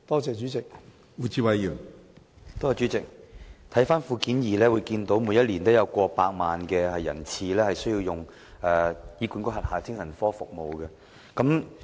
主席，從主體答覆的附件二中可見，每年均有過百萬人次需要使用醫管局轄下的精神科服務。